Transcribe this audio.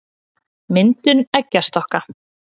myndun eggjastokka